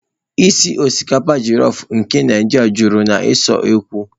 ísì osikapa jolofu nke Naijiria juru na usekwu.